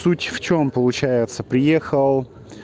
суть в чём получается приехал